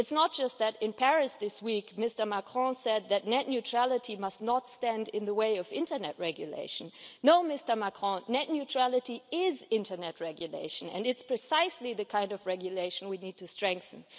It's not just that, in Paris this week, Mr Macron said that net neutrality must not stand in the way of internet regulation. No, Mr Macron, net neutrality is internet regulation, and it's precisely the kind of regulation we need to strengthen.